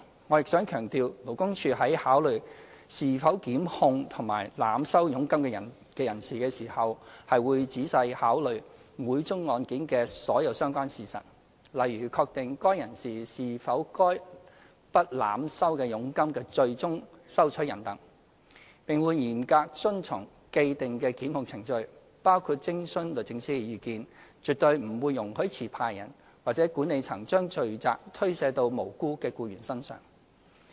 我亦想強調，勞工處在考慮是否檢控濫收佣金的人士時，會仔細考慮每宗案件的所有相關事實，例如確定該人士是否該筆濫收的佣金的最終收取人等，並會嚴格遵循既定檢控程序，包括徵詢律政司的意見，絕對不會容許持牌人或管理層將罪責推卸到無辜的僱員身上。